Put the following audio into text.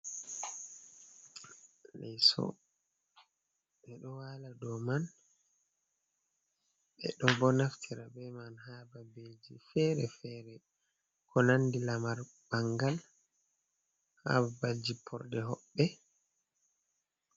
Leso. Ɓe ɗo wala do man, be ɗo bo naftira be man ha babeji fere-fere ko nandi lamar bangal ha babbal ji porde hobbe,